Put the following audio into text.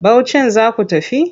Bauchin za ku tafi?